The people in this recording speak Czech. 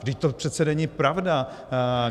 Vždyť to přece není pravda.